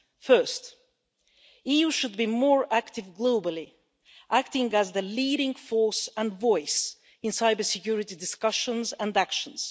Firstly, the EU should be more active globally, acting as the leading force and voice in cybersecurity discussions and actions.